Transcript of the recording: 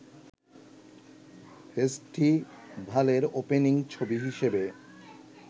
ফেস্টিভালের opening ছবি হিসেবে